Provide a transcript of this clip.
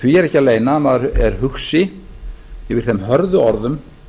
því er ekki að leyna að maður er hugsi yfir þeim hörðu orðum